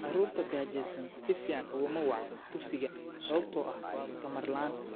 Carruurta gaajaysan si fiican uguma wacna dugsiga sababtoo ah tamar la'aan.